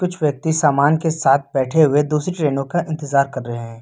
कुछ व्यक्ति सामान के साथ बैठे हुए दूसरी ट्रेनों का इंतजार कर रहे हैं।